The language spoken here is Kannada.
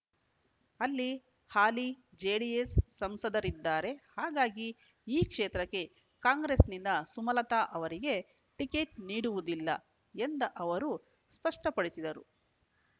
ಅಲ್ಲಿ ಹಾಲಿ ಜೆಡಿಎಸ್ ಸಂಸದರಿದ್ದಾರೆ ಹಾಗಾಗಿ ಈ ಕ್ಷೇತ್ರಕ್ಕೆ ಕಾಂಗ್ರೆಸ್‌ನಿಂದ ಸುಮಲತಾ ಅವರಿಗೆ ಟಿಕೆಟ್ ನೀಡುವುದಿಲ್ಲ ಎಂದ ಅವರು ಸ್ಪಷ್ಪಪಡಿಸಿದರು